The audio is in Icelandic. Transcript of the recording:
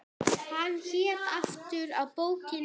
Hvað hét aftur bókin yðar?